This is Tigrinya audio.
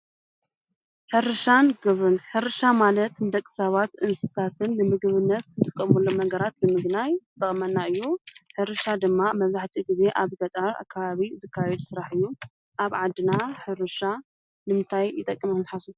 ሕርሻን ግብርናን፡- ሕርሻ ማለት ንደቂ ሰባትን ንእንስሳን ንምግብነት እንጥቀመሎም ነገራት ንምግናይ ይጠቅመና እዩ፡፡ ሕርሻ ድማ ምብዛሕትኡ ግዛ ኣብ ገጠር ኣከባቢ ዝከየድ ስራሕ እዩ፡፡ ኣብ ዓድና ሕርሻ ንምንታይ ይጠቅም ኢልኩም ትሓስቡ?